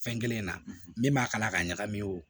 Fɛn kelen na min b'a kala ka ɲagami o